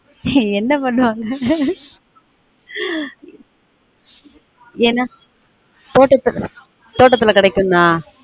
ஏய் என்ன பண்ணுவாங்க என்ன தோட்டத்து தோட்டத்துல கிடைக்குன்னா